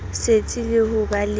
setsi le ho ba le